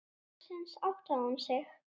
Loksins áttaði hún sig.